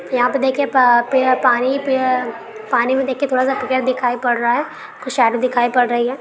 यहाँ पे देखिये पा पेड़ पानी पे पानी में देखिये थोड़ा सा पेड़ दिखाई पड़ रहा है। कुछ शैडो दिखाई पड़ रही है।